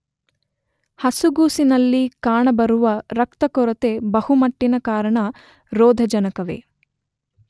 ಹಸುಗೂಸಿನಲ್ಲಿ ಕಾಣಬರುವ ರಕ್ತಕೊರೆಗೆ ಬಹುಮಟ್ಟಿನ ಕಾರಣ ರೋಧಜನಕವೇ.